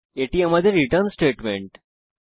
এবং এটি আমাদের রিটার্ন স্টেটমেন্ট